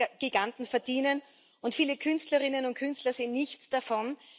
Internetgiganten verdienen, und viele Künstlerinnen und Künstler sehen nichts davon.